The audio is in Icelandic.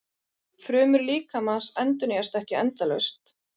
Frumur líkamans endurnýjast ekki endalaust.